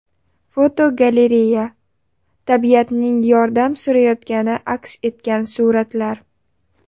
Fotogalereya: Tabiatning yordam so‘rayotgani aks etgan suratlar.